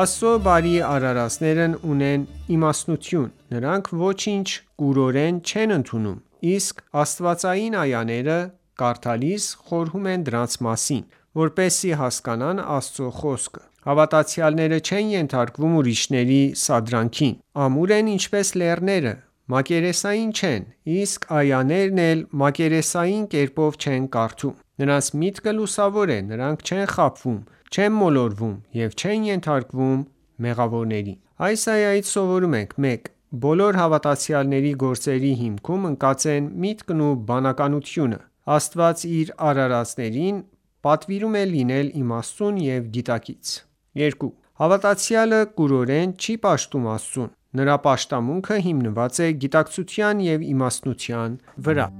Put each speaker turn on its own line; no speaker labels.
Աստծո բարի արարածներն ունեն իմաստնություն: Նրանք ոչինչ կուրորեն չեն ընդունում, իսկ աստվածային այաները կարդալիս, խորհում են դրանց մասին, որպեսզի հասկանան Աստծո խոսքը: Հավատացյալները չեն ենթարկվում ուրիշների սադրանքին, ամուր են ինչպես լեռները, մակերեսային չեն, իսկ այաներն էլ մակերեսային կերպով չեն կարդում: Նրանց միտքը լուսավոր է, նրանք չեն խաբվում, չեն մոլորվում ու չեն ենթարկվում մեղավորներին: Այս այայից սովորում ենք․ 1. Բոլոր հավատացյալների գործերի հիմքում ընկած են միտքն ու բանականությունը: Աստված իր արարածներին պատվիրում է լինել իմաստուն և գիտակից: 2. Հավատացյալը կուրորեն չի պաշտում Աստծուն: Նրա պաշտամունքը հիմնված է գիտակցության ու իմաստնության վրա: